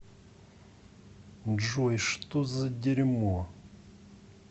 джой что за дерьмо